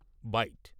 byte